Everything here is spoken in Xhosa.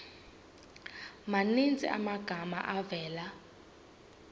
maninzi amagama avela